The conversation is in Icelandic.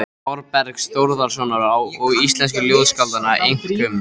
Þórbergs Þórðarsonar og íslensku ljóðskáldanna, einkum